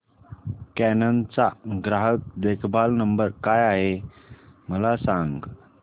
canon चा ग्राहक देखभाल नंबर काय आहे मला सांग